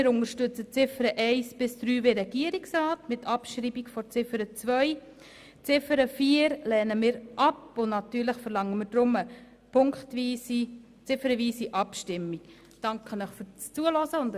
Wir unterstützen also die Ziffern 1 bis 3 unter Abschreibung von Ziffer 2. Ziffer 4 lehnen wir ab und verlangen deshalb eine ziffernweise Abstimmung.